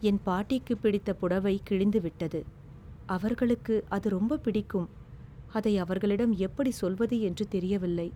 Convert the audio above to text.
என் பாட்டிக்கு பிடித்த புடவை கிழிந்துவிட்டது, அவர்களுக்கு அது ரொம்பப் பிடிக்கும். அதை அவர்களிடம் எப்படி சொல்வது என்று தெரியவில்லை.